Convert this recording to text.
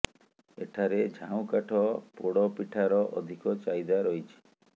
ଏଠାରେ ଝାଉଁ କାଠ ପୋଡ଼ ପିଠାର ଅଧିକ ଚାହିଦା ରହିଛି